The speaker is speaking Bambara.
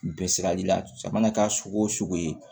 Bɛɛ sirali la jamana ka sogo ye